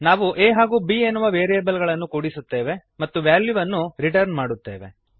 ನಾವು a ಹಾಗೂ b ಎನ್ನುವ ವೇರಿಯಬಲ್ಗಳನ್ನು ಕೂಡಿಸುತ್ತೇವೆ ಮತ್ತು ವ್ಯಾಲ್ಯೂವನ್ನು ರಿಟರ್ನ್ ಮಾಡುತ್ತೇವೆ